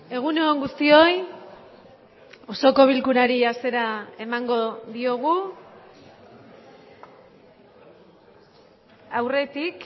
egun on guztioi osoko bilkurari hasiera emango diogu aurretik